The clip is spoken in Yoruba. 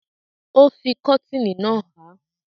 Ó fi kọ́tìnì náà há.